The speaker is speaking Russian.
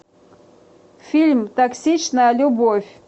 фильм токсичная любовь